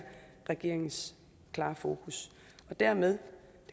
regeringens klare fokus dermed